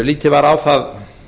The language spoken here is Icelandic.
lítið var á það